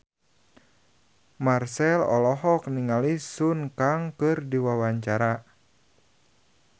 Marchell olohok ningali Sun Kang keur diwawancara